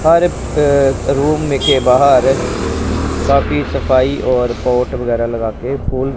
room में के बाहर काफी सफाई और पॉट वगैरह लगाके फुल--